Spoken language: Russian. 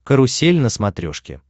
карусель на смотрешке